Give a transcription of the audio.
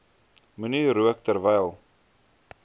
moenie rook terwyl